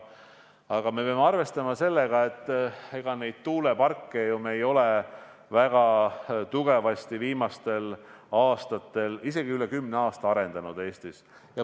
Aga me peame arvestama sellega, et me ei ole neid tuuleparke ju viimastel aastatel, isegi üle kümne aasta Eestis eriti arendanud.